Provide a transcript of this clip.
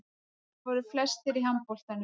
Þeir voru flestir í handboltanum.